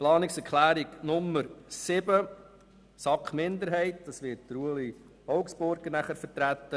Die Planungserklärung 7 der SAK-Minderheit, wird von Ueli Augstburger vertreten.